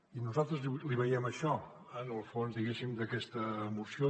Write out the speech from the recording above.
i nosaltres hi veiem això en el fons diguéssim d’aquesta moció